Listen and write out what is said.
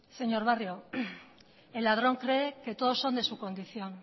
señor barrio el ladrón cree que todos son de su condición